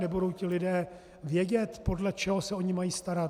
Nebudou ti lidé vědět, podle čeho se o ni mají starat?